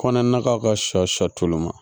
Kɔnɔna ka shɛ shɛ t'olu ma